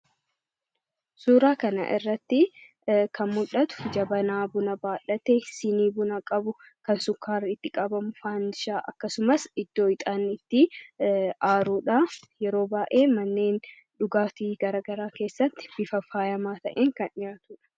Suuraa kana irratti kan mul'atu jabanaa buna baadhate, siinii buna qabu, kan sukkaara itti qabamu, faandishaa fi akkasumas iddoo ixaanni itti aarudha. Yeroo baay'ee manneen dhugaatii garaa garaa keessatti bifa faayamaa ta'een kan dhiyaatudha.